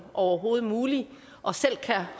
overhovedet muligt og selv